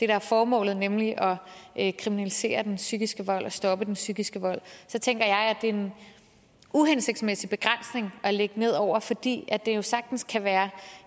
er formålet nemlig at kriminalisere den psykiske vold og stoppe den psykiske vold så tænker jeg at det er en uhensigtsmæssig begrænsning at lægge ned over fordi det jo sagtens kan være